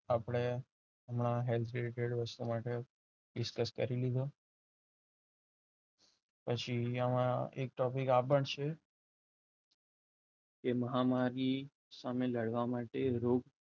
આપણે હમણાં health related વસ્તુ માટે discuss કરી લીધું. પછી અહીંયા આપણે ચોથી આ topic આ પણ છે તેમાં તમારે લડવા માટે તામિલ લડવા માટે રોગ